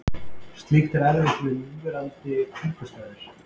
Slíkt er erfitt við núverandi kringumstæður.